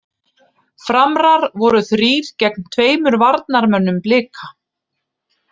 Framrar voru þrír gegn tveimur varnarmönnum Blika.